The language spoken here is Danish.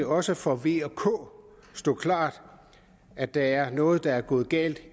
også for v og k stå klart at der er noget der er gået galt